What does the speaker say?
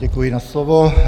Děkuji za slovo.